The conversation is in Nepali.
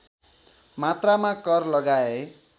मात्रामा कर लगाए